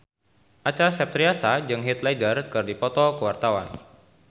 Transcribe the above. Acha Septriasa jeung Heath Ledger keur dipoto ku wartawan